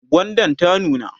gwandan ta nuna?